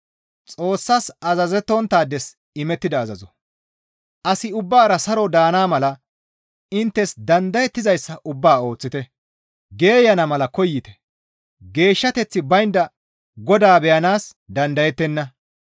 Asi ubbara saro daana mala inttes dandayettizayssa ubbaa ooththite; geeyana mala koyite; geeshshateththi baynda Godaa beyanaas dandayettenna.